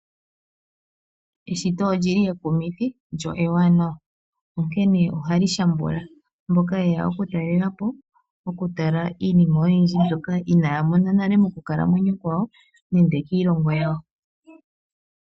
Eshito olyi li ekumithi lyo ewanawa, onkene ohali shambula mboka yeya okutalelapo. Oku tala iinima oyindji mbyoka inaya mona nale mokukalamwenyo kwawo, nende kiilongo yawo.